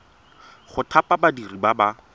go thapa badiri ba ba